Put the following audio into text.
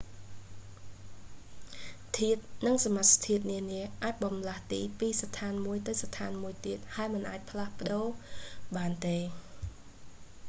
ធាតុ និងសមាសធាតុនានាអាចបម្លាស់ទីពីសណ្ឋានមួយទៅសណ្ឋានមួយទៀត ហើយមិនអាចផ្លាស់ប្តូរបានទេ